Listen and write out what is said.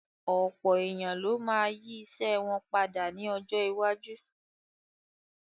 Ọ̀pọ̀ èèyàn ló ma yí ìṣe wọn padà ní ọjọ́ iwájú